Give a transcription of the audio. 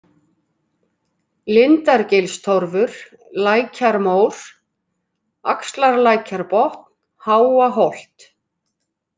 Lindargilstorfur, Lækjarmór, Axarlækjarbotn, Háaholt